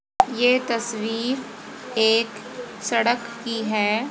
ये तस्वीर एक सड़क की है।